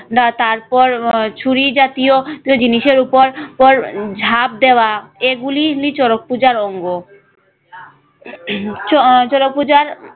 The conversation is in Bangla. না তারপর আহ ছুরি জাতীয় জিনিসের উপর উপর ঝাঁপ দেওয়া এগুলি এমনি পূজার অঙ্গ। আহ শরৎ পূজার